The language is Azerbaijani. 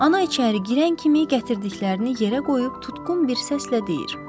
Ana içəri girən kimi gətirdiklərini yerə qoyub tutqun bir səslə deyir: